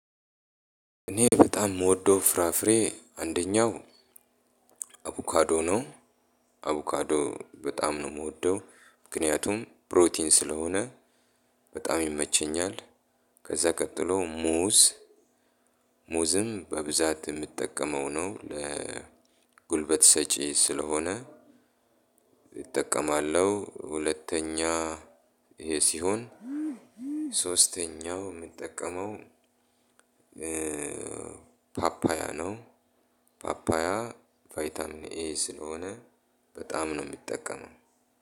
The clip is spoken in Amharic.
እኔ በጣም የምወደው ፍራፍሬ አንደኛው አቡካዶ ነው። አቡካዶ በጣም ነው የምወደው ምክንያቱም ፕሮቲን ስለሆነ በጣም ይመቸኛል። ከዛ ቀጥሎ ሙዝ ሙዝም በብዛት እምጠቀመው ነው ለጉልበት ሰጪ ስለሆነ። እጠቀማለሁ። ሁለተኛ ይህ ሲሆን። ሶስተኛው የምጠቀመው ፓፓያ ነወ። ፓፓያ ቫይታሚን ኤ ስለሆነ በጣም ነው እምጠቀመው።